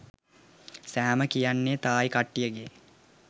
සෑම කියන්නෙ තායි කට්ටියගෙ